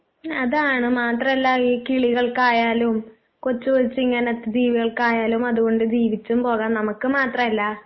അതാണ് മാത്രമല്ല ഈ കിളികൾക്കായാലും കൊച്ചുകൊച്ചു ഇങ്ങനത്തെ ജീവികൾക്കായാലും അതുകൊണ്ട് ജീവിച്ചും പോകാം നമുക്ക് മാത്രം അല്ല